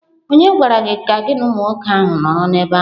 Ònye gwara gị ka gị na umụ nwoke ahụ nọrọ n'ebe ahụ?